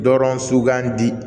Dɔrɔn sugandi